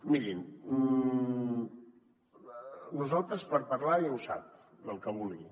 mirin nosaltres per parlar ja ho sap del que vulgui